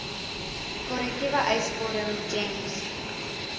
korrekte eisvorm gems